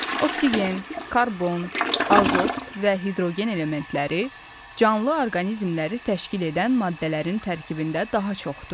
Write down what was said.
Oksigen, karbon, azot və hidrogen elementləri canlı orqanizmləri təşkil edən maddələrin tərkibində daha çoxdur.